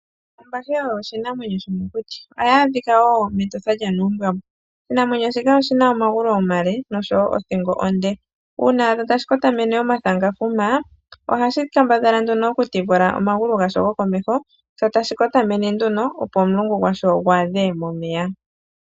Ombahe oyo oshinamwenyo shomokuti. Ohayi adhika wo mEtosha lyaNuumbwambwa. Oshinamwenyo shika oshi na omagulu omale, nosho wo othingo onde. Uuna wa adha tashi kotamene omathangafuma, ohashi kambadhala nduno okutifula omagulu gasho gokomeho, sho tashi kotamene nduno, opo omulungu gwasho gu adhe momeya.